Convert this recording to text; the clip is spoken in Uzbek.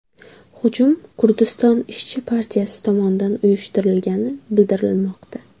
Hujum Kurdiston ishchi partiyasi tomonidan uyushtirilgani bildirilmoqda.